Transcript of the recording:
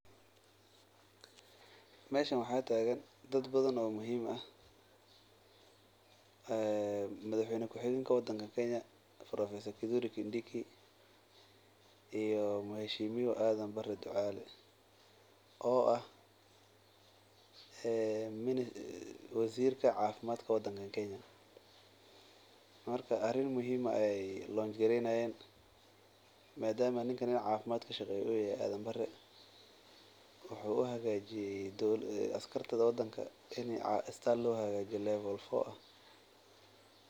Meshan waxaa tagan dad badan oo muhiim ah professor kindiki iyo muheshimiwa adan bare aya tagan oo ah wasirka cafimaadka wadankan kenya marka arin muhiim ayey hagajini hayan madama ninkan u yahay nika u xilsaran cafimaadka wuxuu rawa in lo hagajiyo isbital fican.